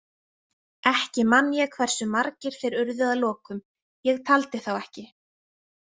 Ekki man ég hversu margir þeir urðu að lokum, ég taldi þá ekki.